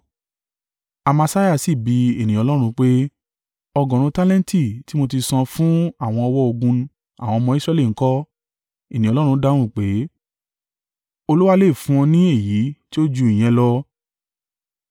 Amasiah sì bi ènìyàn Ọlọ́run pé, “Ọgọ́rùn-ún tálẹ́ǹtì tí mo ti san fún àwọn ọ̀wọ́ ogun àwọn ọmọ Israẹli ń kọ́?” Ènìyàn Ọlọ́run dáhùn pé “Olúwa lè fún ọ ní èyí tí ó ju ìyẹn lọ.”